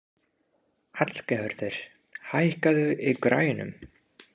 Hallgerður, hækkaðu í græjunum.